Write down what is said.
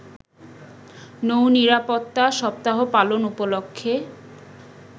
নৌ নিরাপত্তা সপ্তাহ পালন উপলক্ষে